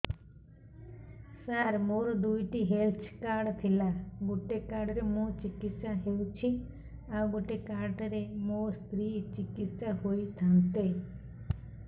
ସାର ମୋର ଦୁଇଟି health card ଥିଲା ଗୋଟେ କାର୍ଡ ରେ ମୁଁ ଚିକିତ୍ସା ହେଉଛି ଆଉ ଗୋଟେ କାର୍ଡ ରେ ମୋ ସ୍ତ୍ରୀ ଚିକିତ୍ସା ହୋଇଥାନ୍ତେ